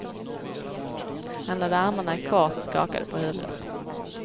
Han lade armarna i kors och skakade på huvudet.